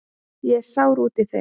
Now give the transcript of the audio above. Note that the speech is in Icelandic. Ég er sár út í þig.